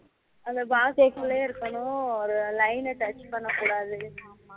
அதுல box க்குலே இருக்கணும் அதுல line touch பன்னா கூடாது